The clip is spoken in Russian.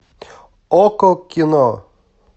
окко кино